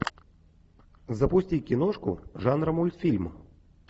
запусти киношку жанра мультфильм